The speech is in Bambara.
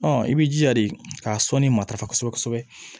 i b'i jija de k'a sɔnni matarafa kosɛbɛ kosɛbɛ